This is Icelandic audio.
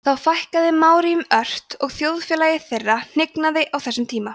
þó fækkaði maóríum ört og þjóðfélagi þeirra hnignaði á þessum tíma